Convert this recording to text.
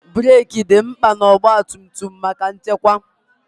breeki dị mkpa na ọgba tum tum maka nchekwa.